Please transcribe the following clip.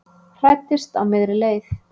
Hræddist á miðri leið